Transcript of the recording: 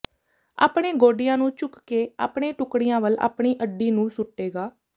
ਆਪਣੇ ਗੋਡਿਆਂ ਨੂੰ ਝੁਕ ਕੇ ਆਪਣੇ ਟੁਕੜਿਆਂ ਵੱਲ ਆਪਣੀ ਅੱਡੀ ਨੂੰ ਸੁੱਟੇਗਾ